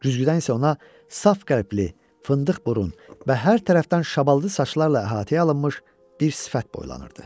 Güzgüdən isə ona saf qəlbli, fındıq burun və hər tərəfdən şabaldı saçlarla əhatəyə alınmış bir sifət boylanırdı.